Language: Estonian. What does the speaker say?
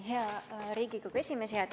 Hea Riigikogu esimees!